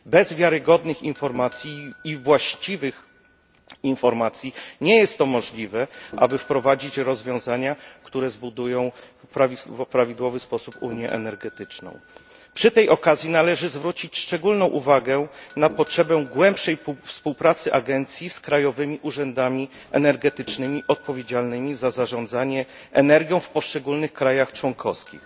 Bez wiarygodnych informacji i właściwych informacji nie jest to możliwe, aby wprowadzić rozwiązania, które zbudują w prawidłowy sposób unię energetyczną. Przy tej okazji należy zwrócić szczególną uwagę na potrzebę głębszej współpracy agencji z krajowymi urzędami energetycznymi odpowiedzialnymi za zarządzanie energią w poszczególnych państwach członkowskich.